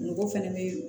Mɔgɔ fana bɛ